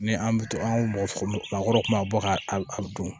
Ni an bɛ to an mɔgɔ maa kɔrɔw kuma bɔ ka a dun